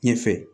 Ɲɛfɛ